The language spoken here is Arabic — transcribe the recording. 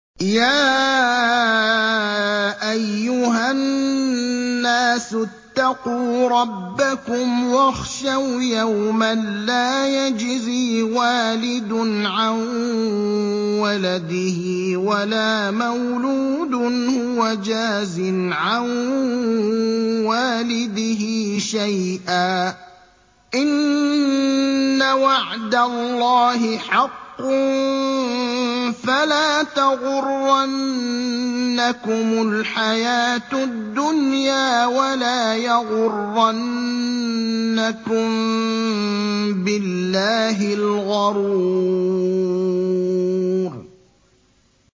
يَا أَيُّهَا النَّاسُ اتَّقُوا رَبَّكُمْ وَاخْشَوْا يَوْمًا لَّا يَجْزِي وَالِدٌ عَن وَلَدِهِ وَلَا مَوْلُودٌ هُوَ جَازٍ عَن وَالِدِهِ شَيْئًا ۚ إِنَّ وَعْدَ اللَّهِ حَقٌّ ۖ فَلَا تَغُرَّنَّكُمُ الْحَيَاةُ الدُّنْيَا وَلَا يَغُرَّنَّكُم بِاللَّهِ الْغَرُورُ